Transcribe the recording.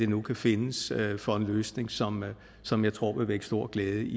nu kan findes for en løsning som som jeg tror vil vække stor glæde i